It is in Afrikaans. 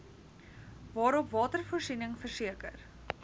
waarop watervoorsiening verseker